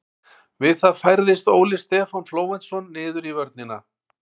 Við það færðist Óli Stefán Flóventsson niður í vörnina.